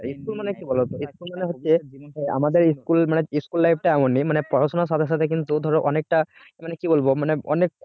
school মানে কি বলতো school মানে হচ্ছে আমাদের school মানে school life টা এমনই মানে পড়াশোনার সাথে সাথে কিন্তু ধরো অনেকটা মানে কি বলবো মানে